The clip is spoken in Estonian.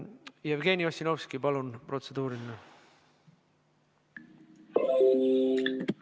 Jevgeni Ossinovski, palun, protseduuriline!